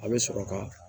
A bɛ sɔrɔ ka